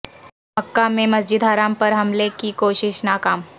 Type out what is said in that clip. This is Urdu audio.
مکہ میں مسجد حرام پر حملے کی کوشش ناکام